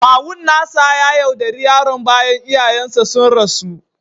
Kawun nasa ya yaudare yaron bayan iyayensa sun rasu